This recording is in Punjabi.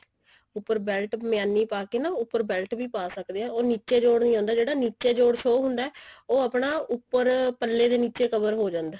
ਉੱਪਰ belt ਮਿਆਨੀ ਪਾ ਕੇ ਨਾ ਉੱਪਰ belt ਵੀ ਪਾ ਸਕਦੇ ਹਾਂ ਅਰ ਨਿੱਚੇ ਜੋੜ ਨਹੀਂ ਆਂਦਾ ਜਿਹੜਾ ਨਿੱਚੇ ਜੋੜ show ਹੁੰਦਾ ਉਹ ਆਪਣਾ ਉੱਪਰ ਪੱਲੇ ਦੇ ਨਿੱਚੇ cover ਹੋ ਜਾਂਦਾ ਜਿਹੜਾ